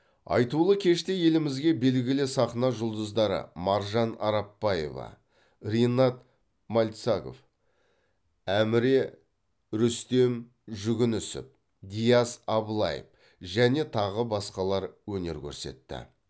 айтулы кеште елімізге белгілі сахна жұлдыздары маржан арапбаева ринат мальцагов әміре рүстем жүгінісов диас аблаев және тағы басқалар өнер көрсетті